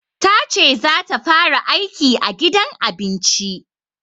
Tace za ta fara aiki a gidan abinci.